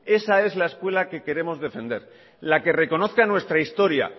esa es la escuela que queremos defender la que reconozca nuestra historia